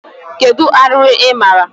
Kedu arụrụ ị maara?